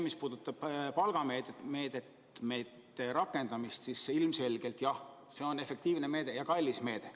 Mis puudutab palgameetmete rakendamist, siis ilmselgelt jah, see on efektiivne meede ja kallis meede.